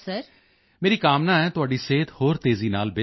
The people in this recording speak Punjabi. ਮੇਰੀ ਕਾਮਨਾ ਹੈ ਤੁਹਾਡੀ ਸਿਹਤ ਹੋਰ ਤੇਜ਼ੀ ਨਾਲ ਬਿਹਤਰ ਹੋਵੇ